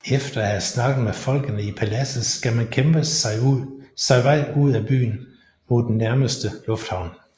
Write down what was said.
Efter at have snakket med folkene i paladset skal man kæmpe sig vej ud af byen mod den nærmeste lufthavn